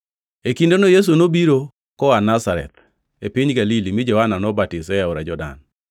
E kindeno Yesu nobiro koa Nazareth, e piny Galili mi Johana nobatise e aora Jordan.